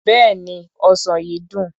Bẹ́ẹ̀ni, ọsàn yìí dùn.